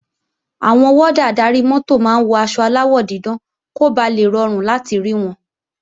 Àwọn wọ́dà adarí-mọ́tò máa ń wọ aṣọ aláwọ̀ dídán kó ba lè rọrùn láti rí wọn